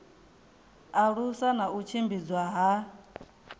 alusa na u tshimbidzwa ha